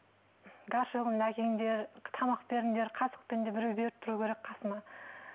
гаршогымды әкеліңдер тамақ беріңдер қасықпен де біреу беріп тұру керек қасымда